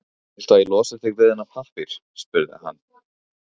Viltu að ég losi þig við þennan pappír? spurði hann.